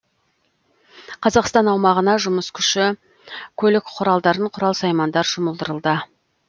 қазақстан аумағына жұмыс күші көлік құралдарын құрал саймандар жұмылдырылды